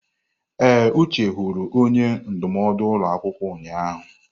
Ee, Uche hụrụ onye ndụmọdụ ụlọ akwụkwọ ụnyahụ.